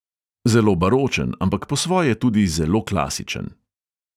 Zelo baročen, ampak po svoje tudi zelo klasičen.